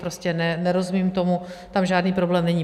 Prostě nerozumím tomu, tam žádný problém není.